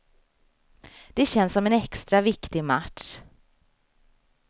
Det känns som en extra viktig match.